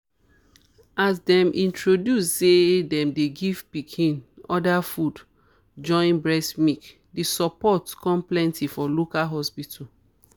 as them introduce say them dey give pikin other food join breast milk the support con plenty for local hospital.